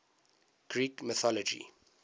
greek mythology